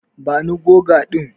Bani goga din.